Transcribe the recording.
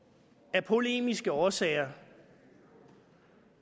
af polemiske årsager